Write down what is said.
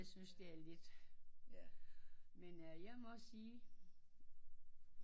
Det synes jeg er lidt men jeg må også sige